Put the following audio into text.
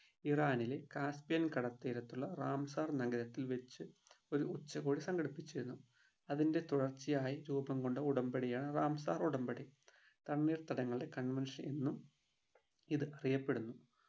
ഇറാനിലെ കാസ്പിയൻ കടൽത്തീരത്തുള്ള റാംസാർ നഗരത്തിൽ വെച്ച് ഒരു ഉച്ചകോടി സംഘടിപ്പിച്ചിരുന്നു അതിൻ്റെ തുടർച്ചയായി രൂപംകൊണ്ട ഉടമ്പടിയാണ് റാംസാർ ഉടമ്പടി തണ്ണീർത്തടങ്ങളുടെ convention എന്നും ഇത് അറിയപ്പെടുന്നു